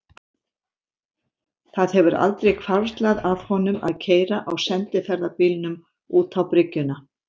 Það hefur aldrei hvarflað að honum að keyra á sendiferðabílnum út á bryggjuna.